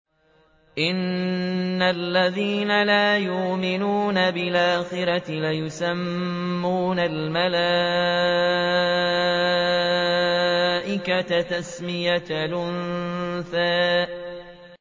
إِنَّ الَّذِينَ لَا يُؤْمِنُونَ بِالْآخِرَةِ لَيُسَمُّونَ الْمَلَائِكَةَ تَسْمِيَةَ الْأُنثَىٰ